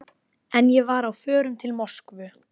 En ég var á förum til Moskvu.